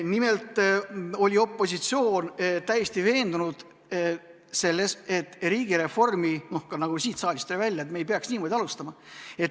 Nimelt oli opositsioon täiesti veendunud selles, et riigireformi, nagu ka siin saalis tuli välja, me ei peaks niimoodi alustama.